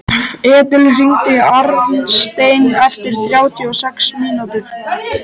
Edil, hringdu í Arnstein eftir þrjátíu og sex mínútur.